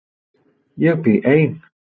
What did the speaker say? Ég bý ein.